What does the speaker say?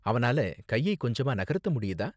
அவனால கையை கொஞ்சமா நகர்த்த முடியுதா?